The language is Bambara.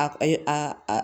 A a